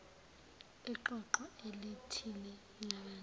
iqoqo elithile labantu